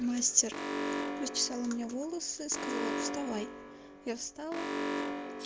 мастер расчесала мне волосы сказала вставай я встала